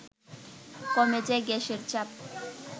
কমে যায় গ্যাসের চাপ